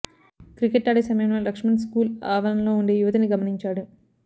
cricket ఆడే సమయంలో Laxman school ఆవరణలో ఉండే యువతిని గమనించాడు